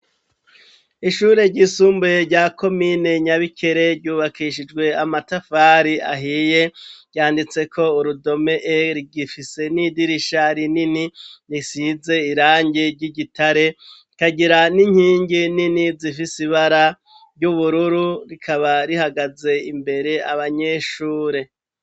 Ishure ryisumbuye rya komine nyabikere ryubakishijwe amatafari ahiye yanditse ko urudome e rgifise n'idirisha rinini risize irangi ry'igitare, ikagira n'inkingi nini zifise ibara ry'ubururu rikaba rihagaze imbere abanyeshure.